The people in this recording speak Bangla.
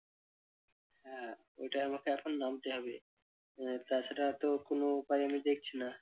ওটাই আমাকে এখন নামতে হবে। আহ তাছাড়া তো কোন উপায় আমি দেখছি না।